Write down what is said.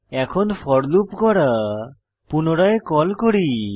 এখন for loop গড়া পুনরায় কল করি